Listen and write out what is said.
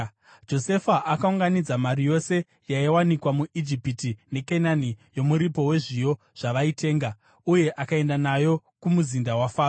Josefa akaunganidza mari yose yaiwanikwa muIjipiti neKenani yomuripo wezviyo zvavaitenga, uye akaenda nayo kumuzinda waFaro.